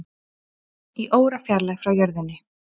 Í órafjarlægð frá jörðinni